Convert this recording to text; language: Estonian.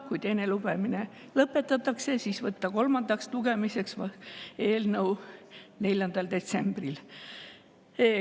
Kui teine lugemine lõpetatakse, siis võtta eelnõu kolmandaks lugemiseks 4. detsembril.